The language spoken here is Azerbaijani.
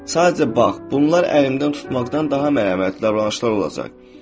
Sadəcə bax, bunlar əlimdən tutmaqdan daha məni mənəvi atlı davranışdır.